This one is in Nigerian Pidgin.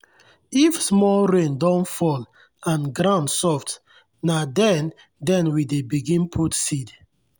if small rain don fall and ground soft na then then we dey begin put seed.